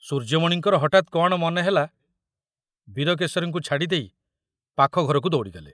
ସୂର୍ଯ୍ୟମଣିଙ୍କର ହଠାତ କଣ ମନେହେଲା ବୀରକେଶରୀଙ୍କୁ ଛାଡ଼ିଦେଇ ପାଖ ଘରକୁ ଦୌଡ଼ିଗଲେ।